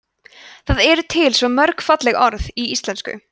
það eru til svo mörg falleg orð í íslenksu